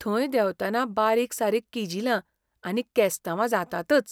थंय देंवतना बारीकसारीक किजिलां आनी केस्तांवां जातातच.